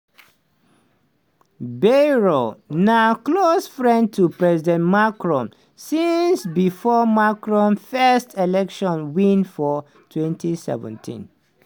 bayrou na close friend to president macron since bifor macron first election win for 2017.